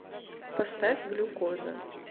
поставь глюкоза